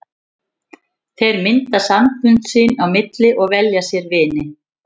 Þeir mynda sambönd sín á milli og velja sér vini.